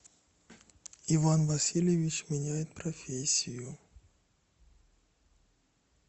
иван васильевич меняет профессию